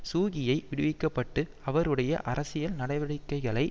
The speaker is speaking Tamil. சூ கியை விடுவிக்க பட்டு அவருடைய அரசியல் நடவடிக்கைகளை